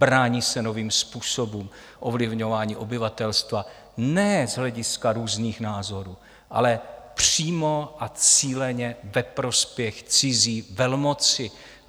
Brání se novým způsobům ovlivňování obyvatelstva, ne z hlediska různých názorů, ale přímo a cíleně ve prospěch cizí velmoci.